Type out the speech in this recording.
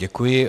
Děkuji.